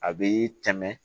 A bɛ tɛmɛ